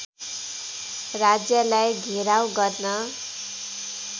राज्यलाई घेराउ गर्न